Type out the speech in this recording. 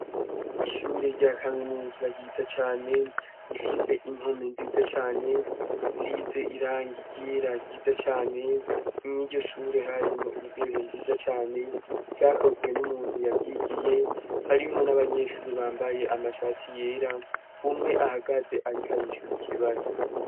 Ishure rya kaminuza ryiza cane gifise impome nziza cane zisize iranga igera ryiza cane inyiryo shure harimwo intebe nziza cane vyakozwe n'umuntu yavyigiye harimwo n'abanyeshuri bambaye amashati yera umwe ahagaze, ariko arishura ikibazo.